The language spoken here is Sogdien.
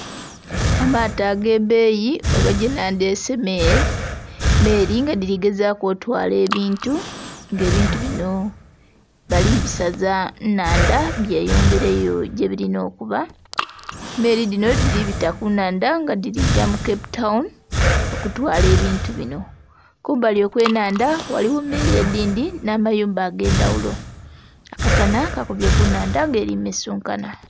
Amaato agebeeyi oba gyenandyese meeri nga dhirigezaaku otwala ebintu nga ebintu bino balibisaza nnhanda byeyongeleyo gyebilina okuba emeeri dhino dhiribita kunhanda nga dhirikuja mu cape town okutwala ebintu bino kumbali okwenhanda ghaliwo emeeri edhindhi n'amayumba agendhawolo, akasana kakubye kunhanda nga eri ku mesunkanha